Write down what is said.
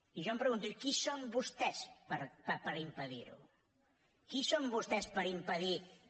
i jo em pregunto i qui són vostès per impedir ho qui són vostès per impedir que